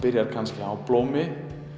byrjar kannski á blómi